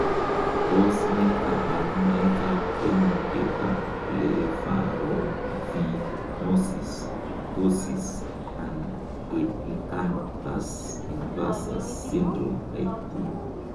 Tos nee koborunoikab koimutietab Blepharophimosis, ptosis, and epicanthus inversus syndrome type 2?